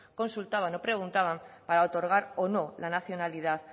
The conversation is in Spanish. consultaban o preguntaban para otorgar o no la nacionalidad